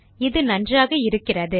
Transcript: இது நன்றாக இருக்கிறது